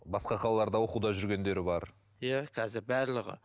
басқа қалаларда оқуда жүргендері бар иә қазір барлығы